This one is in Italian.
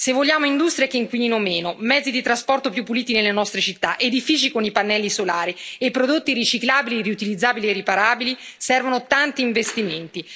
Se vogliamo industrie che inquinino meno, mezzi di trasporto più puliti nelle nostre città, edifici con i pannelli solari e prodotti riciclabili, riutilizzabili e riparabili, servono tanti investimenti.